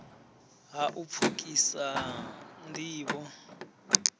ha u pfukhisa nd ivho